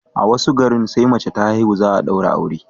a wasu garin sai mace ta haihu, za a daura aure